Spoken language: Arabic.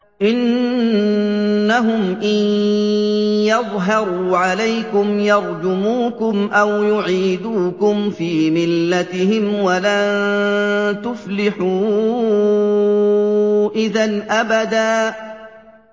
إِنَّهُمْ إِن يَظْهَرُوا عَلَيْكُمْ يَرْجُمُوكُمْ أَوْ يُعِيدُوكُمْ فِي مِلَّتِهِمْ وَلَن تُفْلِحُوا إِذًا أَبَدًا